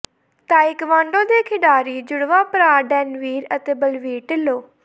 taekwondo ਦੇ ਖਿਡਾਰੀ ਜੁੜਵਾਂ ਭਰਾ ਡੈੱਨਵੀਰ ਅਤੇ ਬਲਵੀਰ ਢਿੱਲੋਂ